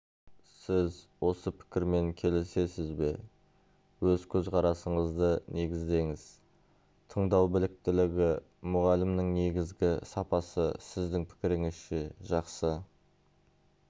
сіз осы пікірмен келісесіз бе өз көзқарасыңызды негіздеңіз тыңдау біліктілігі мұғалімнің негізгі сапасы сіздің пікіріңізше жақсы